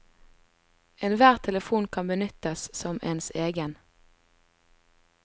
Enhver telefon kan benyttes som ens egen.